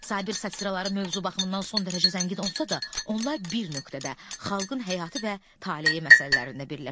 Sabir satıraları mövzu baxımından son dərəcə zəngin olsa da, onlar bir nöqtədə xalqın həyatı və taleyi məsələlərində birləşir.